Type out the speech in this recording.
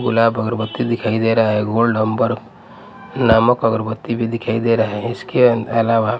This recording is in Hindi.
गुलाब अगरबत्ती दिखाई दे रहा है गोल्ड हंबर नामक अगरबत्ती भी दिखाई दे रहा है इसके अलावा--